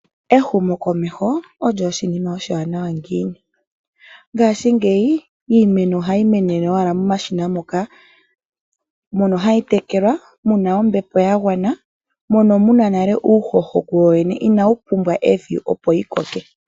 Ehumokomeho olyo oshinima oshiwanawa ngiini. Ngashingeyi iimeno ohayi menene owala momashina moka mono hayi tekelwa mu na ombepo ya gwana, mono mu na nale uuhoho kuwowene inawu pumbwa evi opo yi koke.